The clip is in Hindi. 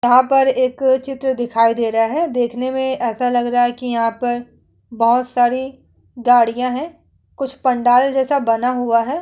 यहां पर एक चित्र दिखाई दे रहा है। देखने में ऐसा लग रहा है कि यहां पर बोहोत सारे गाड़ियां है। कुछ पंडाल जैसा बना हुआ है।